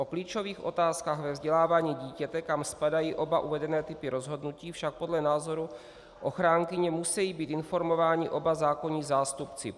O klíčových otázkách ve vzdělávání dítěte, kam spadají oba uvedené typy rozhodnutí, však podle názoru ochránkyně, musí být informováni oba zákonní zástupci.